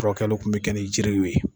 furakɛliw tun bɛ kɛ ni jiriw ye